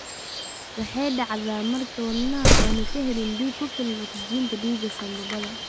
Waxay dhacdaa marka wadnuhu aanu ka helin dhiig ku filan oksijiinta dhiiga sanbabada.